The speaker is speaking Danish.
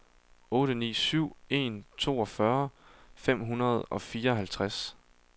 otte ni syv en toogfyrre fem hundrede og fireoghalvtreds